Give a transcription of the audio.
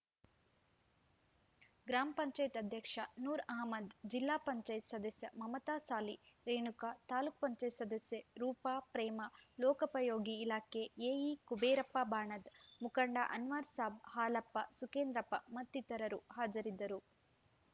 ಗ್ರಾಮ ಪಂಚಾಯತ್ ಅಧ್ಯಕ್ಷ ನೂರ್‌ ಅಹ್ಮದ್‌ ಜಿಲ್ಲಾ ಪಂಚಾಯತ್ ಸದಸ್ಯೆ ಮಮತಾಸಾಲಿ ರೇಣುಕಾ ತಾಲೂಕ್ ಪಂಚಾಯತ್ ಸದಸ್ಯೆ ರೂಪಾ ಪ್ರೇಮಾ ಲೋಕೋಪಯೋಗಿ ಇಲಾಖೆ ಎಇ ಕುಬೇರಪ್ಪ ಬಾಣದ್‌ ಮುಖಂಡ ಅನ್ವರ್‌ ಸಾಬ್‌ ಹಾಲಪ್ಪ ಸುಕೇಂದ್ರಪ್ಪ ಮತ್ತಿತರರು ಹಾಜರಿದ್ದರು